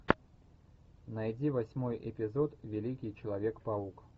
найди восьмой эпизод великий человек паук